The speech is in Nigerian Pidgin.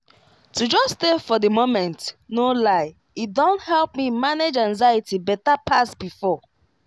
to just stay for the moment no lie e don help me manage anxiety better pass before.